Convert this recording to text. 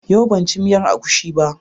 Yau ban ci miyar agushi ba.